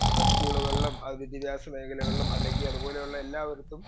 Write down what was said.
speaker 2 ആഹ് സ്കൂളുകളിലും വിദ്യാഭ്യാസ മേഖലകളിലും അല്ലെങ്കി അതുപോലുള്ള എല്ലായിടത്തും